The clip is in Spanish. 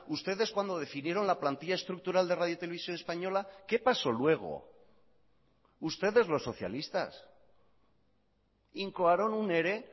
ustedes cuando definieron la plantilla estructural de radio televisión española qué pasó luego ustedes los socialistas incoaron un ere